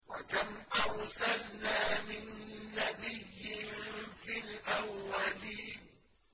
وَكَمْ أَرْسَلْنَا مِن نَّبِيٍّ فِي الْأَوَّلِينَ